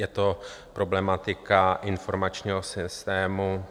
Je to problematika informačního systému